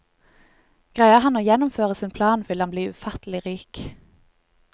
Greier han å gjennomføre sin plan, vil han bli ufattelig rik.